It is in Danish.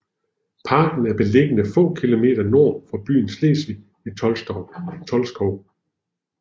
Parken er beliggende få kilometer nord for byen Slesvig i Tolkskov